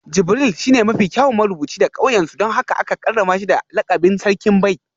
Jibril shine mafi kyawun marubuci daga kauyensu don haka aka karrama shi da lakabin Sarkin Bai